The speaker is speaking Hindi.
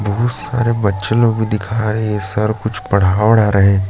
बहुत सारे बच्चे लोग भी दिखाई है सर कुछ पढ़ा वढ़ा रहे है।